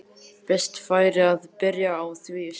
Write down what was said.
Best væri að byrja á því strax.